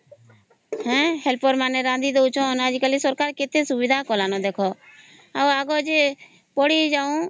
ହିଁ ହେଲପେର ମାନେ ରାନ୍ଧି ଡାଉଛନ ଆଜି କଲି ସରକାର କେତେ ସୁବିଧା କଲାଣି ଦେଖ ଆଉ ଆଗର ଯେ ଆମେ ପଢିଯାଉନ